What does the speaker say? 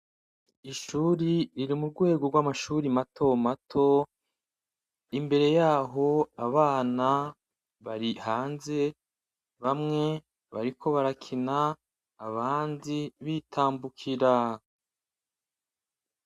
Ishuri riri mu rwego rw'amashuri mato mato imbere yaho abana bari hanze bamwe bariko barakina abandi bitambukira.